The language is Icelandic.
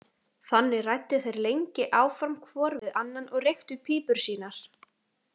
Þannig ræddu þeir lengi áfram hvor við annan og reyktu pípur sínar.